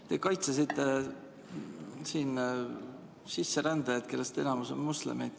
Te kaitsesite siin sisserändajaid, kellest enamik on moslemid.